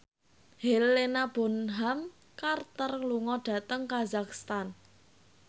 Helena Bonham Carter lunga dhateng kazakhstan